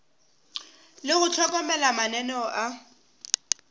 le go hlokomela mananeo a